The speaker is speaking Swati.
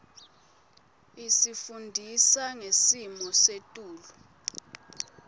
isifundisa ngesimo setulu